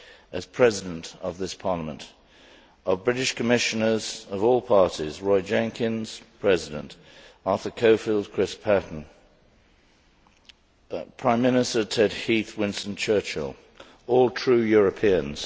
as President of this Parliament, of British Commissioners of all parties Roy Jenkins Arthur Cockfield, Chris Patton, Prime Minister Ted Heath and Winston Churchill all true Europeans.